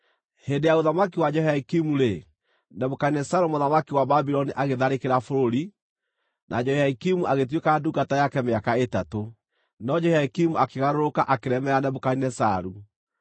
Hĩndĩ ya ũthamaki wa Jehoiakimu-rĩ, Nebukadinezaru mũthamaki wa Babuloni agĩtharĩkĩra bũrũri, na Jehoiakimu agĩtuĩka ndungata yake mĩaka ĩtatũ. No Jehoiakimu akĩgarũrũka, akĩremera Nebukadinezaru.